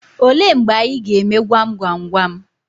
Olee mgbe anyị ga-eme gwam gwam gwam?